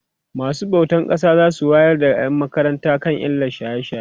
masu bautan ƙasa zasu wayar da ƴan makaranta kan illan shaye shaye